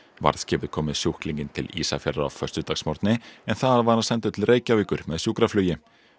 varðskipið kom með sjúklinginn til Ísafjarðar á föstudagsmorgni en þaðan var hann sendur til Reykjavíkur með sjúkraflugi